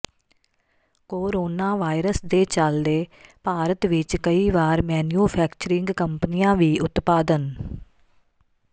corona virus ਦੇ ਚਲਦੇ ਭਾਰਤ ਵਿਚ ਕਈ ਵਾਰ ਮੈਨਿਊਫੈਕਚਰਿੰਗ ਕੰਪਨੀਆਂ ਵੀ ਉਤਪਾਦਨ